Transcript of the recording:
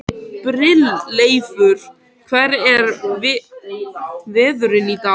Brynleifur, hvernig er veðrið í dag?